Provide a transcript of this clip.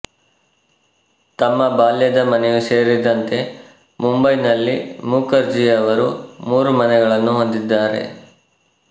ತಮ್ಮ ಬಾಲ್ಯದ ಮನೆಯೂ ಸೇರಿದಂತೆ ಮುಂಬೈನಲ್ಲಿ ಮುಖರ್ಜಿಯವರು ಮೂರು ಮನೆಗಳನ್ನು ಹೊಂದಿದ್ದಾರೆ